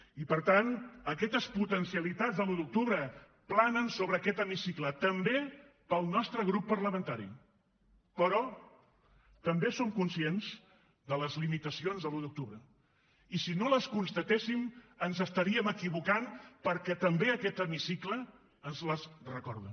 i per tant aquestes potencialitats de l’un d’octubre planen sobre aquest hemicicle també per al nostre grup parlamentari però també som conscients de les limitacions de l’un d’octubre i si no les constatéssim ens estaríem equivocant perquè també aquest hemicicle ens les recorda